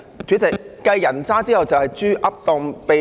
主席，繼"人渣"後，有"豬噏當秘笈"。